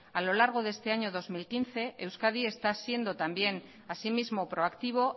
a lo largo de este año dos mil quince euskadi está siendo también asimismo proactivo